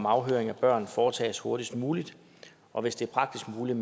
afhøring af børn foretages hurtigst muligt og hvis det er praktisk muligt